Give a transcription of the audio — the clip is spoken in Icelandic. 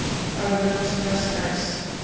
Alveg rosalega skæs.